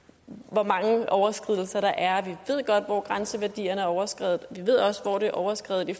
hvor mange overskridelser der er vi ved godt hvor grænseværdierne er overskredet og vi ved også hvor der er overskredet i